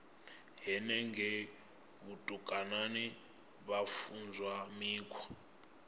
henengei vhutukani vha funzwa mikhwa